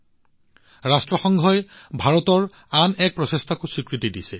এতিয়া ৰাষ্ট্ৰসংঘই ভাৰতৰ আন এক প্ৰচেষ্টাক স্বীকৃতি আৰু সন্মান জনাইছে